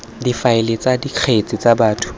difaele tsa dikgetse tsa batho